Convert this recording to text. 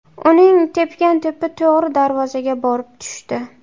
Uning tepgan to‘pi to‘g‘ri darvozaga borib tushdi.